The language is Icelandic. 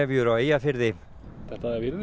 þetta virðist vera